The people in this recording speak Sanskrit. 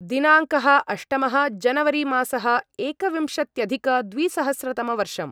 दिनाङ्कः अष्टमः जनवरिमासः एकविंशत्यधिकद्विसहस्रतमवर्षम्